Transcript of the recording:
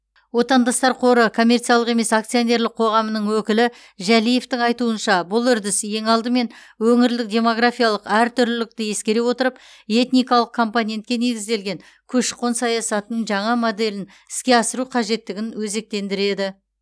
отандастар қоры коммерциялық емес акционерлік қоғамының өкілі жәлиевтің айтуынша бұл үрдіс ең алдымен өңірлік демографиялық әртүрлілікті ескере отырып этникалық компонентке негізделген көші қон саясатының жаңа моделін іске асыру қажеттігін өзектендіреді